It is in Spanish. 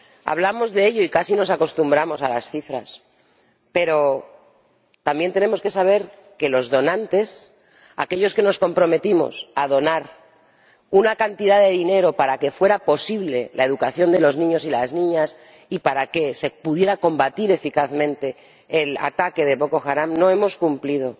Hablamos de ello y casi nos acostumbramos a las cifras, pero también tenemos que saber que los donantes —aquellos que nos comprometimos a donar una cantidad de dinero, para que fuera posible la educación de los niños y las niñas y para que se pudiera combatir eficazmente el ataque de Boko Haram— no hemos cumplido